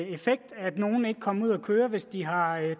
effekt at nogle ikke kommer ud at køre hvis de har